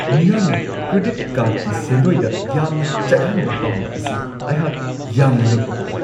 ꯃꯤꯌꯥꯝꯅ ꯀ꯭ꯔꯦꯗꯤꯠ ꯀꯥꯔꯗꯀꯤ ꯁꯦꯟꯗꯣꯏꯗ ꯌꯥꯝꯅ ꯆꯠꯍꯟꯕ ꯄꯥꯝꯕ ꯑꯁꯤ ꯑꯩꯍꯥꯛ ꯌꯥꯝꯅ ꯉꯛꯄ ꯄꯣꯛꯏ ꯫